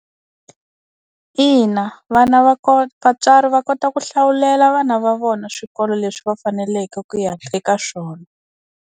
Ina vana va kota vatswari va kota ku hlawulela vana va vona swikolo leswi va faneleke ku ya eka swona.